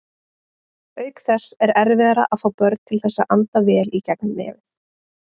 Auk þess er erfiðara að fá börn til þess að anda vel í gegnum nefið.